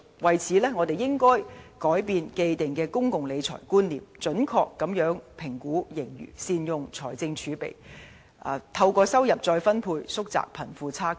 因此，我們應要改變既定的公共理財觀念，準確評估盈餘，善用財政儲備，並透過收入再分配，縮窄貧富差距。